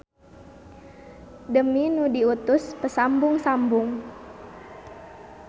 Demi nu diutus pasambung-sambung.